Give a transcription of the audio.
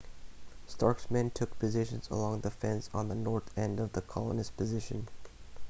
stark's men took positions along the fence on the north end of the colonist's position